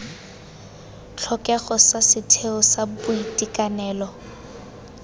tlhokego sa setheo sa boitekanelo